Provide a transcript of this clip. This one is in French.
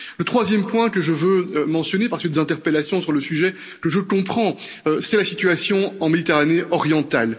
Troisième point que je veux mentionner à la suite des interpellations sur le sujet, ce que je comprends, c'est la situation en Méditerranée orientale.